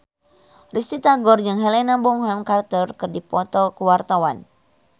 Risty Tagor jeung Helena Bonham Carter keur dipoto ku wartawan